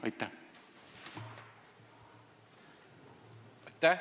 Aitäh!